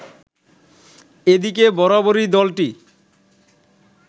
এদিকে বরাবরই দলটি